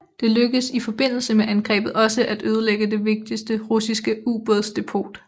Det lykkedes i forbindelse med angrebet også at ødelægge det vigtige russiske ubådsdepot